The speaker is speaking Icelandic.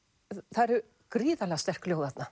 það eru gríðarlega sterk ljóð þarna